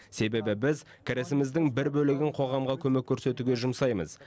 себебі біз кірісіміздің бір бөлігін қоғамға көмек көрсетуге жұмсаймыз